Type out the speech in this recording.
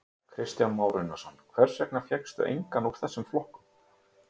Kristján Már Unnarsson: Hvers vegna fékkstu engan úr þessum flokkum?